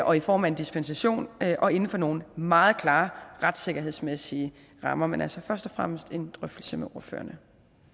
og i form af en dispensation og inden for nogle meget klare retssikkerhedsmæssige rammer men altså først og fremmest en drøftelse med ordførerne